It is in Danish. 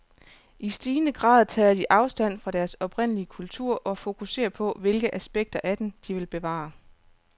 I stigende grad tager de afstand fra deres oprindelige kultur og fokuserer på, hvilke afspekter af den, de vil bevare.